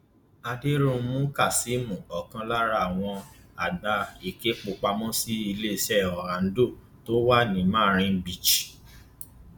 àdẹrùnmú kazeem ọkan lára àwọn àgbà ìkẹpọpàmósì iléeṣẹ Oando tó wà ní marine beach